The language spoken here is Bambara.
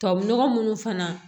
Tubabu nɔgɔ munnu fana